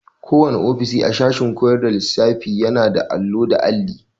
Kowanne ofishi a sashen koyar da lissafiyana da allo da alli.